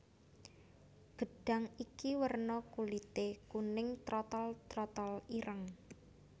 Gedhang iki werna kulité kuning trotol trotol ireng